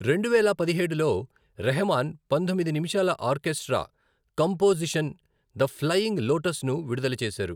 రెండువేల పదిహేడులో రెహమాన్ పంతొమ్మిది నిమిషాల ఆర్కెస్ట్రా కంపోజిషన్ 'ద ఫ్లయింగ్ లోటస్'ను విడుదల చేశారు.